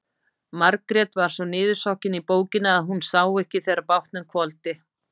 Margrét var svo niðursokkin í bókina að hún sá ekki þegar bátnum hvolfdi.